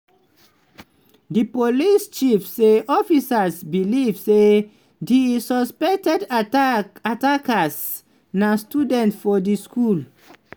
di police chief say officers believe say di suspected attack attacker na student for di school.